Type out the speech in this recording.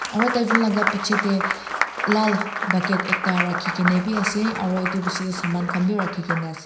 aru tarjont laga piche te lal bucket ekta rakhi kina bhi ase aru itu bechi te saman khan bhi rakhi kina ase.